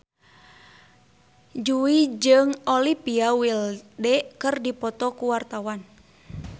Jui jeung Olivia Wilde keur dipoto ku wartawan